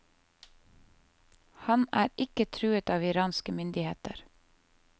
Han er ikke truet av iranske myndigheter.